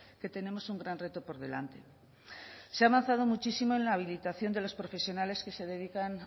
que tenemos un gran reto por delante se ha avanzado muchísimo en la habilitación de las profesionales que se dedican